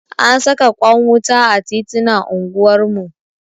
An saka kwan wuta a titinan anguwar mu.